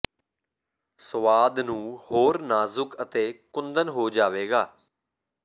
ਸੁਆਦ ਨੂੰ ਹੋਰ ਨਾਜੁਕ ਹੈ ਅਤੇ ਕੁੰਦਨ ਹੋ ਜਾਵੇਗਾ